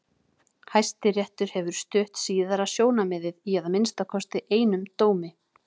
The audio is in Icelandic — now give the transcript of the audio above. Hæstiréttur hefur stutt síðara sjónarmiðið í að minnsta kosti einum dómi.